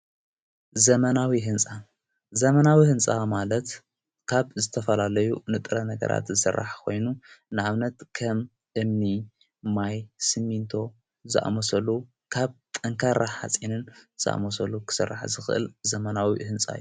ዘመናዊ ሕንጻ ዘመናዊ ሕንፃ ማለት ካብ ዘተፈላለዩ ንጥረ ነገራት ዝሠራሕ ኾይኑ፤ ንኣብነት ከም እምኒ ፣ማይ ፣ስምንቶ ዝኣመሰሉ ካብ ጠንካራ ኃጺንን ዝኣመሰሉ ክሥራሕ ዝኽእል ዘመናዊ ይሕንጻ እዩ።